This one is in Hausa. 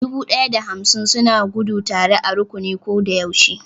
Dubu ɗaya da hamsin suna gudu tare a rukuni ko da yaushe